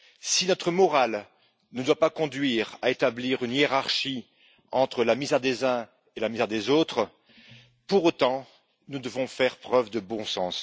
Si notre morale ne doit pas conduire à établir une hiérarchie entre la misère des uns et des autres, pour autant nous devons faire preuve de bon sens.